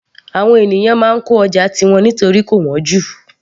Àwọn ènìyàn máa ń kọ́ ọjà tiwọn nítorí kò wọ́n jù